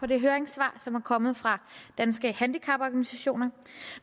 det høringssvar som er kommet fra danske handicaporganisationer